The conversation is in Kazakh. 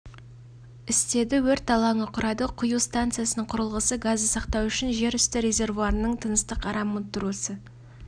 істеді өрт алаңы құрады құю станциясының құрылғысы газды сақтау үшін жер үсті резервуарының тыныстық арматурасы